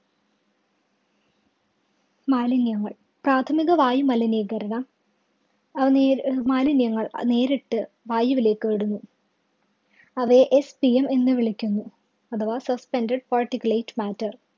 മാലിന്യങ്ങള്‍ പ്രാഥമിക വായുമലിനീകരണ അത് മാലിന്യങ്ങള്‍ അത് നേരിട്ട് വായുവിലേക്ക് വിടുന്നു. അവയെ SPM എന്ന് വിളിക്കുന്നു. അഥവാ Suspended Particulate Matter